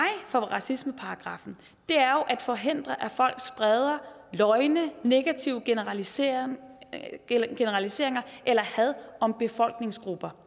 for racismeparagraffen er jo at forhindre at folk spreder løgne negative generaliseringer generaliseringer eller had om befolkningsgrupper